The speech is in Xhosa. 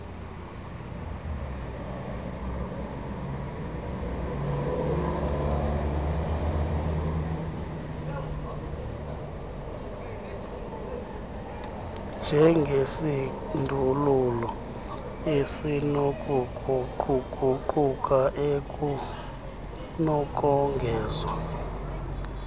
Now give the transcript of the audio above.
njengesindululo esinokuguquguquka ekunokongezwa